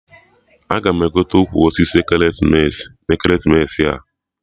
Aga m egote ukwu osisi ekeresimesi na ekeresimesi a